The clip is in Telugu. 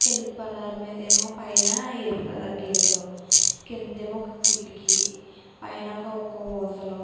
తెలుపు కలర్ మీదేమో పైన ఎరుపు కలర్ గీతలు కిందేమో ఒక కిటికీ పైనొక ఒక --